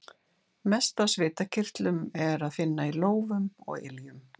Mest af svitakirtlum er að finna í lófum og iljum.